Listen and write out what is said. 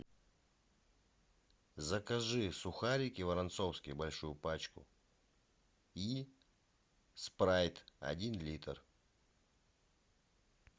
закажи сухарики воронцовские большую пачку и спрайт один литр